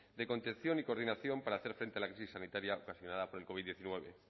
de contención y coordinación para hacer frente a la crisis sanitaria ocasionada por el covid hemeretzi